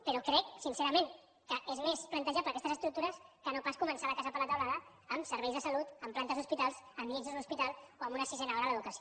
però crec sincerament que és més plantejable aquestes estructures que no pas començar la casa per la teulada amb serveis de salut amb plantes d’hospitals amb llits d’un hospital o amb una sisena hora a l’educació